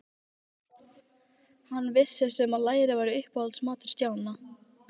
Hann vissi sem var að læri var uppáhaldsmatur Stjána.